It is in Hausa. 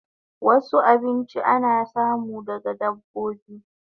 Wasu abinchin ana samu daga dabbobi